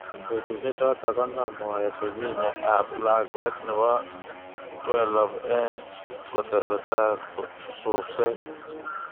Betusiek choto konam moet Virginia ab lakwet nebo 12, eng kotesetai subset.